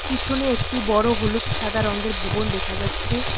পিছনে একটি বড় হলুদ সাদা রংগের ভোবন দেখা যাচ্ছে।